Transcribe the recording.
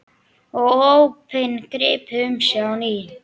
Og ópin gripu um sig á ný.